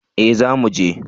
Eh za muje